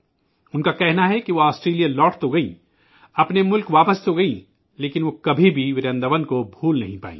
وہ کہتی ہیں کہ وہ آسٹریلیا لوٹ تو گئیں، اپنے ملک واپس تو گئیں، لیکن وہ ورنداون کو کبھی بھول نہیں پائی